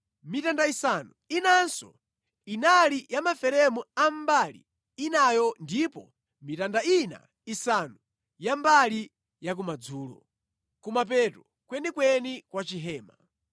mitanda isanu inanso inali ya maferemu a mbali inayo ndipo mitanda ina isanu ya mbali yakumadzulo, kumapeto kwenikweni kwa chihema.